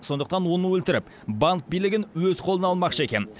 сондықтан оны өлтіріп банк билігін өз қолына алмақшы екен